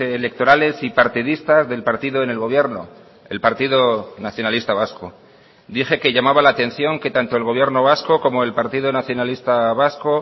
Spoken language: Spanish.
electorales y partidistas del partido en el gobierno el partido nacionalista vasco dije que llamaba la atención que tanto el gobierno vasco como el partido nacionalista vasco